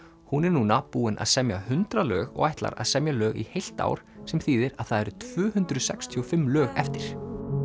hún er núna búin að semja hundrað lög og ætlar að semja lög í heilt ár sem þýðir að það eru tvö hundruð sextíu og fimm lög eftir